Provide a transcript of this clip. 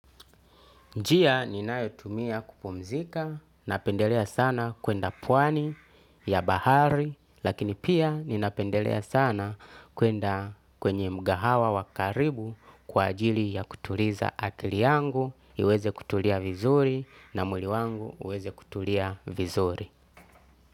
Njia ninayotumia kupumzika, napendelea sana kuenda pwani ya bahari, lakini pia ninapendelea sana kuenda kwenye mgahawa wakaribu kwa ajili ya kutuliza akili yangu, iweze kutulia vizuri na muli wangu uweze kutulia vizuri.